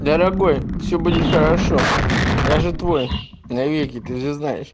дорогой всё будет хорошо я же твой навеки ты же знаешь